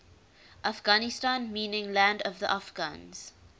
afghanistan meaning land of the afghans